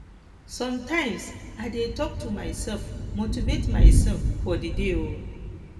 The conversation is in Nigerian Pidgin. sometimes i dey talk to myself motivate myself for the day um